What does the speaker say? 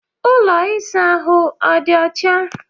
Ụlọ ịsa ahụ ọ dị ọcha?